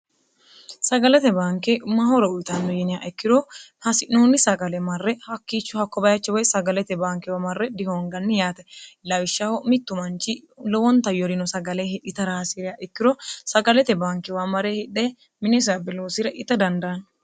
sagalete banke mahora uyitanno yiniha ikkiro hasi'noonni sagale marre hakkiichu hakko bayachi woy sagalete baankewa marre dihoonganni yaate lawishshaho mittu manchi lowonta yorino sagale hidhitara hasiireya ikkiro sagalete baankewa mare hidhe minisa biluusire ita dandaanni